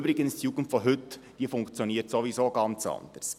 Übrigens funktioniert die Jugend von heute sowieso ganz anders.